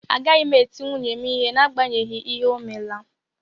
Agaghị m eti nwunye m ihe n'agbanyeghị ihe o mela